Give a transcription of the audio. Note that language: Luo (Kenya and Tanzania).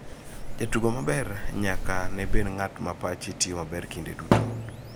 Jatugo maber nyaka ne bed ng'at ma pache tiyo maber kinde duto.